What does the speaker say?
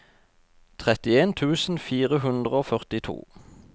trettien tusen fire hundre og førtito